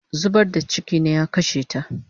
Zubar da chiki ne ya kashe ta